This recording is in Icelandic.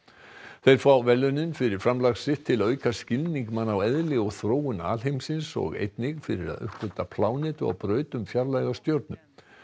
þeir fá verðlaunin fyrir framlag sitt til að auka skilning manna á eðli og þróun alheimsins og einnig fyrir að uppgötva plánetu á braut um fjarlæga stjörnu